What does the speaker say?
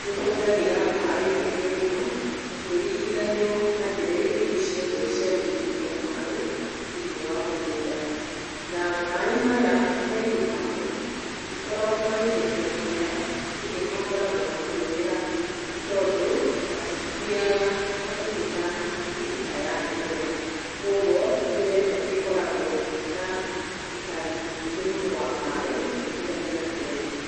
nĩ ũhũthagĩra maaĩ maingĩ mũno, ũkĩringanio na njĩra iria ingĩ ciothe cia gũitĩrĩria maaĩ, thĩiniĩ wa mũgũnda. Na maaĩ maya maingĩ mamo, matikoragwo magĩteithia mĩmera, ĩndĩ makoragwo makĩũrĩra nĩ tondũ matithiaga hakuhĩ na mĩrita ya mĩmera. Kwoguo njĩra ĩno nĩ ĩkoragwo na witangĩki mũingĩ mũno wa maaĩ, ũkiringithanio na njĩra ingĩ.